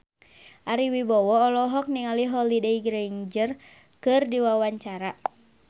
Ari Wibowo olohok ningali Holliday Grainger keur diwawancara